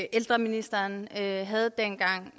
ældreministeren havde dengang